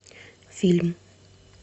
фильм